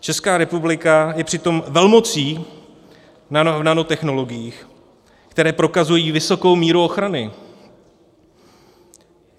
Česká republika je přitom velmocí v nanotechnologiích, které prokazují vysokou míru ochrany.